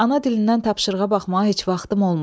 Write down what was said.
Ana dilindən tapşırığa baxmağa heç vaxtım olmayıb.